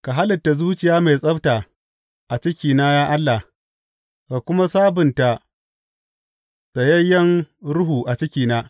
Ka halitta zuciya mai tsabta a cikina, ya Allah, ka kuma sabunta tsayayyen ruhu a cikina.